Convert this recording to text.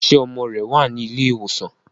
ṣe ọmọ rẹ wá ní Ilé ìwòsàn?